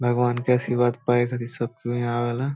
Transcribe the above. भगवान के आशीर्वाद पाए खातिर सब कोई ईहा आवेला |